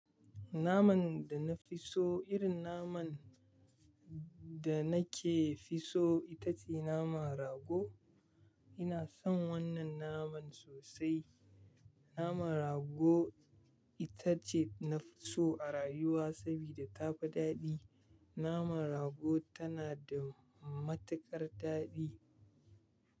Naman da na fi so irin naman da na ke fi so ita ce naman rago. Ina son wannan naman sosai. Naman rago ita ce na fi so a rayuwa saboda ta fi daɗi. Naman rago tana da matuƙar daɗi.